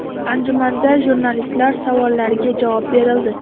Anjumanda jurnalistlar savollariga javob berildi.